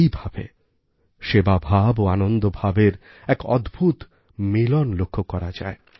এইভাবে সেবাভাব ও আনন্দভাবের এক অদ্ভুত মিলন লক্ষ করা যায়